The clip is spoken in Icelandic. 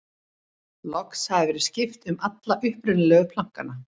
loks hafði verið skipt um alla upprunalegu plankana